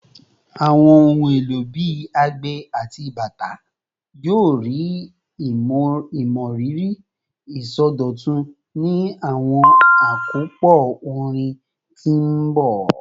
Awọn ohun elo bii agbe ati bata yoo rii imọriri isọdọtun ni awọn akopọ orin ti n bọ